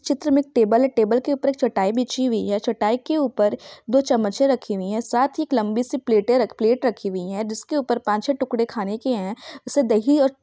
चित्र मे एक टेबल है टेबल के ऊपर एक चटाई बिछी हुई है चटाई के ऊपर दो चम्मचे रखी हुई है साथ ही एक लम्बी सी प्लेट रखी हुई है जिसके ऊपर पांच छः टुकड़े खाने के है जैसे दही और--